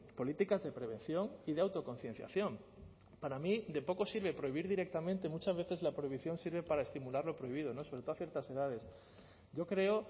políticas de prevención y de autoconcienciación para mí de poco sirve prohibir directamente muchas veces la prohibición sirve para estimular lo prohibido no sobre todo a ciertas edades yo creo